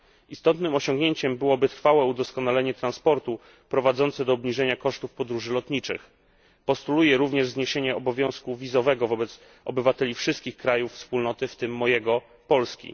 Istotnym osiągnięciem byłoby trwałe udoskonalenie transportu, prowadzące do obniżenia kosztów podróży lotniczych. Postuluję również zniesienie obowiązku wizowego wobec obywateli wszystkich krajów Wspólnoty, w tym mojego Polski.